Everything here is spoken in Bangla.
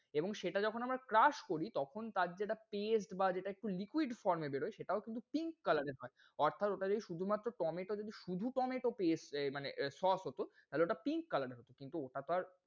এবং সেটা যখন আমরা crush করি তখন তার যেটা paste বা যেটা একটু liquid form এ বেরোই, সেটাও কিন্তু pink colour এর হয়। অর্থাৎ ওটা যে শুধুমাত্র tomato যদি শুধু tomato paste দেয় মানে sauce হোত, তাহলে ওটা pink color এর হোত। কিন্তু ওটা তো আর,